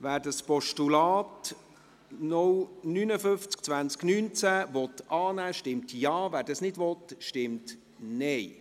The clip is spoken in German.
Wer das Postulat 0592019 annehmen will, stimmt Ja, wer dies nicht will, stimmt Nein.